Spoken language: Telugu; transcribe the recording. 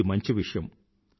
ఇది మంచి విషయం